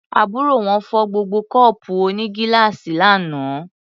Àbúrò wọn fọ́ gbogbo kọ́ọ̀pù onígíláàsì lánàá.